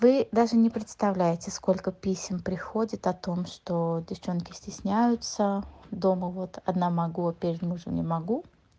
вы даже не представляете сколько песен приходит о том что девчонки стесняются дома вот одна могу а перед мужем не могу